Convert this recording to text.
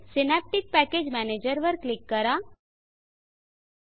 synaptic package manager synaptic package manager वर click करा